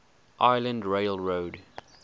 island rail road